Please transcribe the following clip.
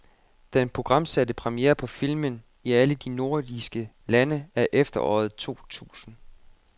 Den programsatte premiere på filmen i alle de nordiske lande er efteråret to tusinde.